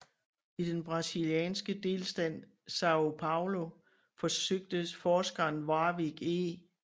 I den brasilianske delstat São Paulo forsøgte forskeren Warwick E